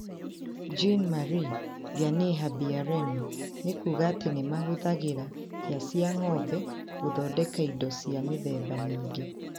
Jean Marie Vianney Habiyaremye nĩ kuuga atĩ nĩ mahũthagĩra hĩa cia ng'ombe gũthondeka indo cia mĩthemba mĩingĩ.